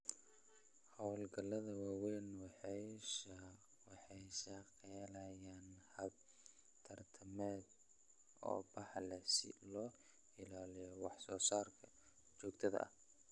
Hawlgallada waaweyn waxay shaqaaleeyaan habab tamareed oo baaxad leh si loo ilaaliyo wax soo saarka joogtada ah.